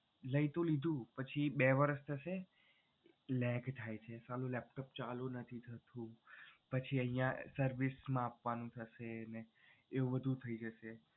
લઈ તો લીધું પછી બે વર્ષ થશે lag થાય છે સાલું laptop ચાલુ નથી થતું પછી અહિયાં service માં આપવાનું થશે ને એવું બધુ થઈ જશે.